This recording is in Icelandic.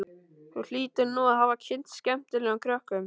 Þú hlýtur nú að hafa kynnst skemmtilegum krökkum.